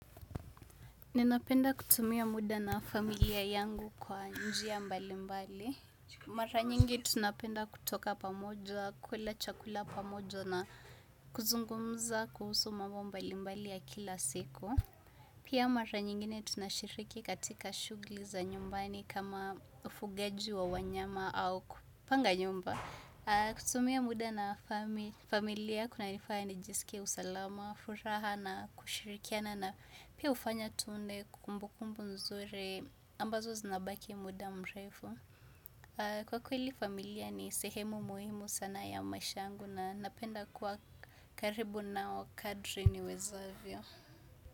Ninapenda kutumia muda na familia yangu kwa njia mbali mbali. Mara nyingi tunapenda kutoka pamoja, kula chakula pamoja na kuzungumza kuhusu mambo mbali mbali ya kila siku. Pia mara nyingine tunashiriki katika shugli za nyumbani kama ufugaji wa wanyama au kupanga nyumba. Kutumia muda na familia kuna nifanya nijisike usalama, furaha na kushirikia na na pia ufanya tune kumbukumbu nzuri ambazo zinabaki muda mrefu. Kwa kweli familia ni sehemu muhimu sana ya mashangu na napenda kwa karibu na wakadri ni wezavyo.